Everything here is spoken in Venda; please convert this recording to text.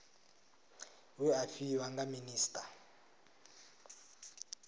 we a fhiwa nga minisita